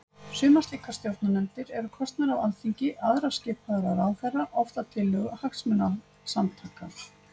Sumar slíkar stjórnarnefndir eru kosnar af Alþingi, aðrar skipaðar af ráðherra, oft að tillögu hagsmunasamtaka.